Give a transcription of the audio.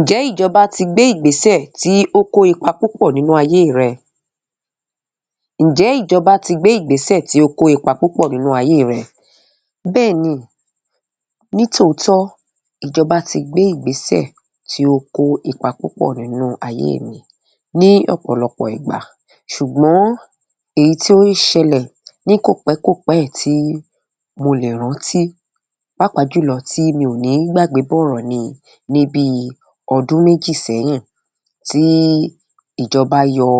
Ǹjẹ́ ìjọba ti gbé ìgbésẹ̀ tí ó kó ipa púpọ̀ nínú ayé rẹ? Ǹjẹ́ ìjọba tí gbé ìgbésẹ̀ tí ó kó ipa púpọ̀ nínú ayé rẹ? Bẹ́ẹ̀ni, nítòótọ́ ìjọba ti gbé ìgbésẹ̀ tí ó kó ipa púpọ̀ nínú ayé mi ní ọ̀pọ̀lọpọ̀ ìgbà. Ṣùgbọ́n èyí tí ó ṣẹlẹ̀ ní kòpẹ́kòpẹ́ yìí tí mo lè rántí pàápàá jùlọ tí mi ò ní gbàgbé bọ̀rọ̀ ni ní bíi ọdún méjì sẹ́yìn tí ìjọba yọ